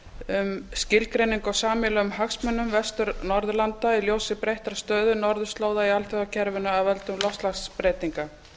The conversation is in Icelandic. um skilgreiningu á sameiginlegum hagsmunum vestur norðurlanda í ljósi breyttrar stöðu norðurslóða í alþjóðakerfinu af völdum loftslagsbreytinga